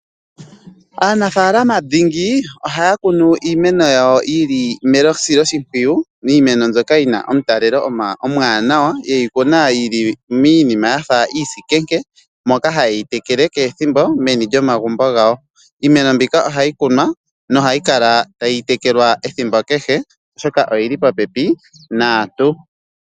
Aanafalama dhingi ohaya kunu iimeno yawo yi li mesiloshimpwiyu, miimeno mbyoka yina omutalelo omuwanawa. Ye yi kuna miinima yafa iisikenke, moka haye yi tekele kehe ethimbo meni lyomagumbo gawo. Iimeno mbika ohayi kunwa nohayi kala tayi tekelwa ethimbo kehe oshoka oyili popepi naantu.